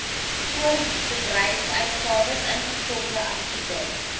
voorbedryfsuitgawes ingevolge artikel